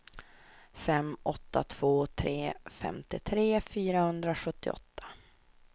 fem åtta två tre femtiotre fyrahundrasjuttioåtta